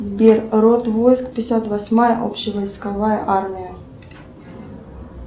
сбер род войск пятьдесят восьмая общевойсковая армия